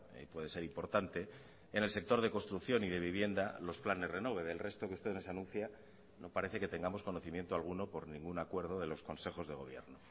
y puede ser importante en el sector de construcción y de vivienda los planes renove del resto que ustedes anuncian no parece que tengamos conocimiento alguno por ningún acuerdo de los consejos de gobierno